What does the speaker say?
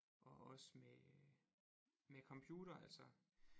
Og også med med computer altså